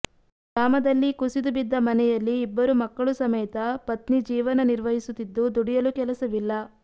ಗ್ರಾಮದಲ್ಲಿ ಕುಸಿದು ಬಿದ್ದ ಮನೆಯಲ್ಲಿ ಇಬ್ಬರು ಮಕ್ಕಳು ಸಮೇತ ಪತ್ನಿ ಜೀವನ ನಿರ್ವಹಿಸುತ್ತಿದ್ದು ದುಡಿಯಲು ಕೆಲಸವಿಲ್ಲ